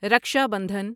Raksha Bandhan